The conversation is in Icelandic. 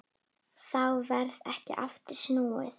Þá varð ekki aftur snúið.